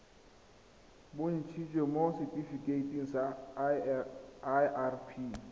bontshitsweng mo setifikeiting sa irp